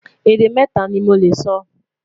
Èdè mẹta ní Mo lẹ sọ